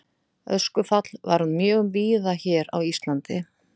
Öskufall varð mjög víða hér á landi.